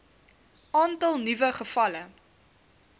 aantal nuwe gevalle